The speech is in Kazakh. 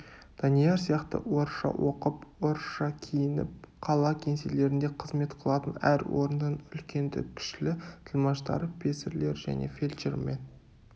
данияр сияқты орысша оқып орысша киініп қала кеңселерінде қызмет қылатын әр орынның үлкенді-кішілі тілмаштары песірлері және фельдшер мен